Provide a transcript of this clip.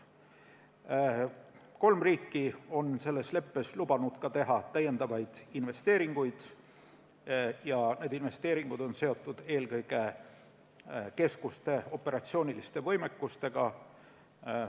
Kolm riiki on selles leppes lubanud teha ka täiendavaid investeeringuid ja need investeeringud on seotud eelkõige keskuste operatsiooniliste võimalustega.